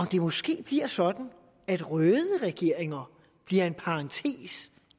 det måske bliver sådan at røde regeringer bliver en parentes